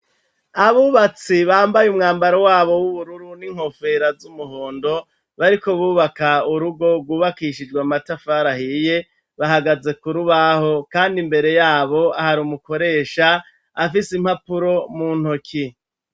Abubatsi bambaye umwambaro wabo w'ubururu n'inkofera z'umuhondo bariko bubaka urugo rwubakishijwe amatafari ahiye bahagaze kurubaho, kandi imbere yabo hari umukoresha afise impapuro mu ntoki.